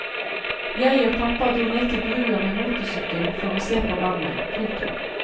Jeg og pappa dro ned til brua med motorsykkelen for å se på vannet. punktum